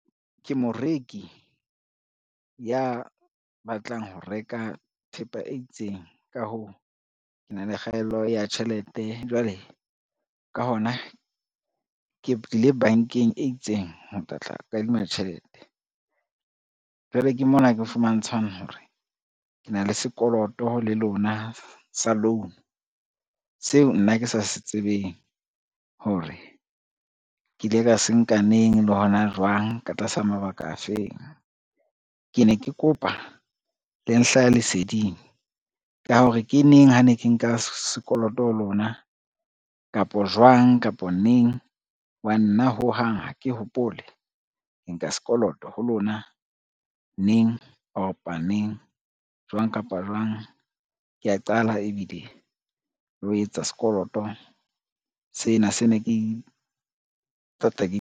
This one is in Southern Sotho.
Ke moreki ya batlang ho reka thepa e itseng, ka hoo, ke na le kgaello ya tjhelete, jwale ka hona ke tlile bankeng e itseng ho tla tla kadima tjhelete. Jwale ke mona ke fumantshwang hore ke na le sekoloto le lona sa loan seo nna ke sa se tsebeng hore, ke ile ka se nka neng le hona jwang, ka tlasa mabaka a feng. Ke ne ke kopa le nhlahe leseding ka hore ke neng ha ne ke nka sekoloto ho lona kapo jwang, kapo neng ho ba nna ho hang ha ke hopole ke nka sekoloto ho lona, neng opa neng, jwang kapa jwang, ke a qala ebile le ho etsa sekoloto sena se ne ke .